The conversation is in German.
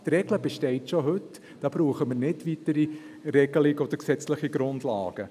Diese Regel besteht schon heute, da brauchen wir nicht weitere Regelungen oder gesetzliche Grundlagen.